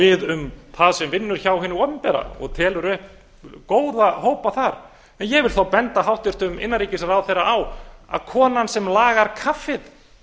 við um vinnu hjá hinu opinbera og telur upp góða hópa þar en ég vil þá benda hæstvirtum innanríkisráðherra á að konan sem lagar kaffið